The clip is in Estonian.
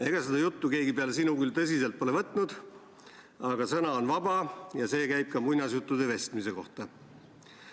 Ega seda juttu keegi peale sinu küll tõsiselt pole võtnud, aga sõna on vaba ja see käib ka muinasjuttude vestmise kohta.